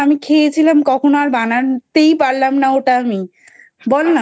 আমি খেয়েছিলাম কখন আর বানাতেই পারলাম না ওটা আমি বলনা